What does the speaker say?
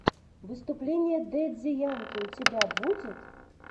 выступление дэдди янки у тебя будет